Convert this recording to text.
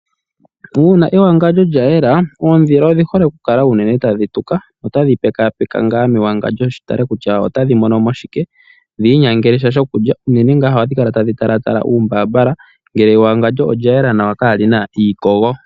Uuna ewangadjo lya yela oondhila odhihole unene okukala tadhi tuka notadhi pekapeko ngaa mewangandjo dhitale kutya otadhi monomo shike, dhi inyangelesha shokulya unene ohadhi kala tadhi talatala uumbambala ngele ewangadjo olya yela nawa kalina iikogo.